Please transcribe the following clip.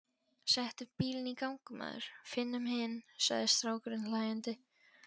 Settu bílinn í gang maður, finnum hinn, sagði strákurinn hlæjandi.